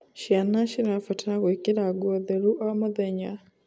Ciana cirabatarwo gwikira nguo theru o mũthenya